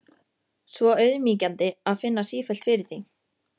Svo auðmýkjandi að finna sífellt fyrir því.